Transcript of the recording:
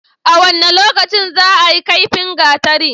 A wane lokaci zaayi kaifin gatari?